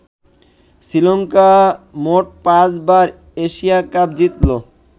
শ্রীলংকা মোট পাঁচ বার এশিয়া কাপ জিতলো।